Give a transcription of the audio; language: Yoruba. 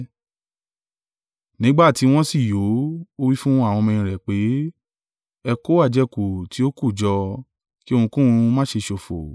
Nígbà tí wọ́n sì yó, ó wí fún àwọn ọmọ-ẹ̀yìn rẹ̀ pé, “Ẹ kó àjẹkù tí ó kù jọ, kí ohunkóhun má ṣe ṣòfò.”